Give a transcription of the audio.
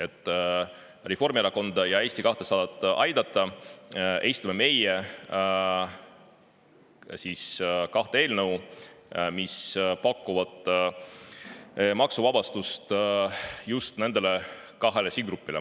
Et Reformierakonda ja Eesti 200 aidata, esitame me kaks eelnõu, mis pakuvad maksuvabastust just nendele kahele sihtgrupile.